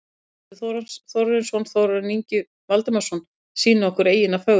Guðmundur Þórarinsson og Þórarinn Ingi Valdimarsson sýna okkur eyjuna fögru.